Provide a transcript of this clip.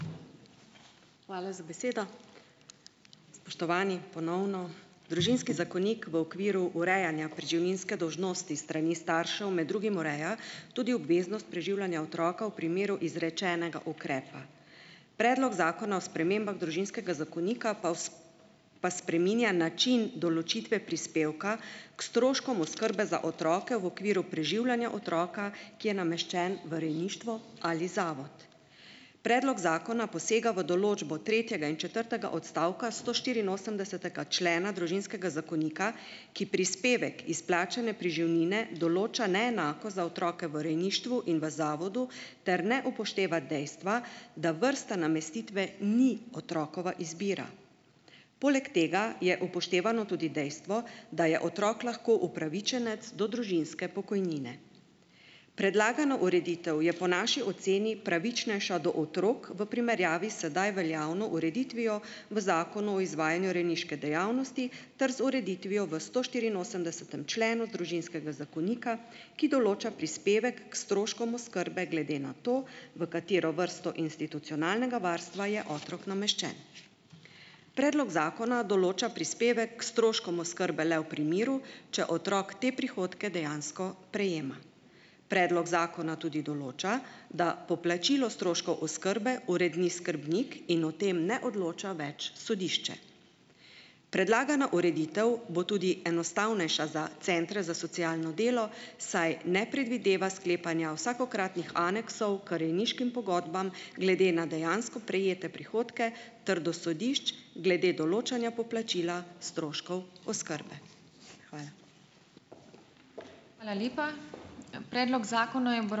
Hvala za besedo. Spoštovani, ponovno. Družinski zakonik v okviru urejanja preživninske dolžnosti s strani staršev med drugim ureja tudi obveznost preživljanja otroka v primeru izrečenega ukrepa. Predlog zakona o spremembah Družinskega zakonika pa pa spreminja način določitve prispevka k stroškom oskrbe za otroke v okviru preživljanja otroka, ki je nameščen v rejništvo ali zavod. Predlog zakona posega v določbo tretjega in četrtega odstavka stoštiriinosemdesetega člena Družinskega zakonika, ki prispevek izplačane preživnine določa neenako za otroke v rejništvu in v zavodu ter ne upošteva dejstva, da vrsta namestitve ni otrokova izbira. Poleg tega je upoštevano tudi dejstvo, da je otrok lahko upravičenec do družinske pokojnine. Predlagana ureditev je po naši oceni pravičnejša do otrok v primerjavi sedaj veljavno ureditvijo v Zakonu o izvajanju rejniške dejavnosti ter z ureditvijo v stoštiriinosemdesetem členu Družinskega zakonika, ki določa prispevek k stroškom oskrbe glede na to, v katero vrsto institucionalnega varstva je otrok nameščen . Predlog zakona določa prispevek k stroškom oskrbe le v primeru, če otrok te prihodke dejansko prejema. Predlog zakona tudi določa, da poplačilo stroškov oskrbe uredi skrbnik in o tem ne odloča več sodišče. Predlagana ureditev bo tudi enostavnejša za centre za socialno delo, saj ne predvideva sklepanja vsakokratnih aneksov k rejniškim pogodbam glede na dejansko prejete prihodke ter do sodišč glede določanja poplačila stroškov oskrbe. Hvala. Hvala lepa. Predlok zakona je ...